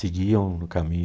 Seguiam no caminho.